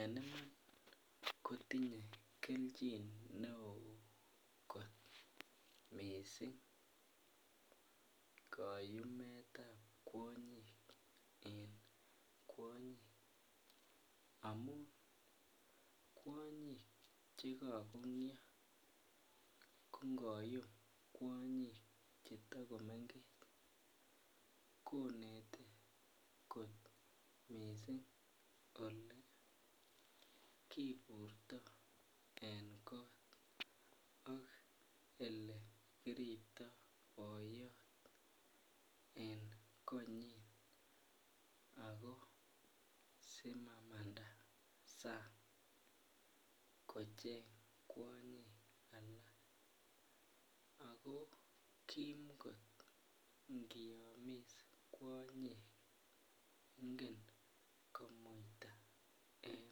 En Iman kotinye kelchin neo mising kayumet ab kwonyik amun kwonyik Che kagongyo ko ngoyum kwonyik Che ta komengech konete kot mising Ole kiburto en kot ak Ole kiriptoi boyot en konyin ako simamanda sang kocheng kwonyik alak ago Kim kot ngiyomis kwonyik ingen komuita en